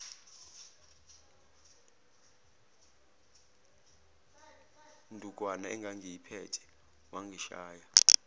ndukwana engangiyiphethe wangishaya